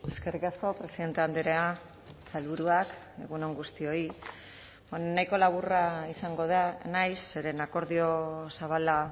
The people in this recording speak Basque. eskerrik asko presidente andrea sailburuak egun on guztioi nahiko laburra izango naiz zeren akordio zabala